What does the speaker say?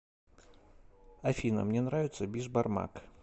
афина мне нравится бишбармак